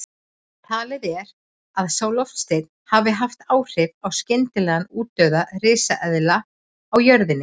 Talið er að sá loftsteinn hafi haft áhrif á skyndilegan útdauða risaeðla á jörðinni.